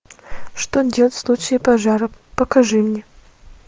что делать в случае пожара покажи мне